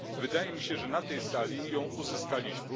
Wydaje mi się, że na tej sali ją uzyskaliśmy.